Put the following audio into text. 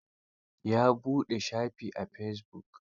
Ya buɗe shafi a fesibuk.